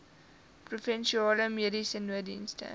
provinsiale mediese nooddienste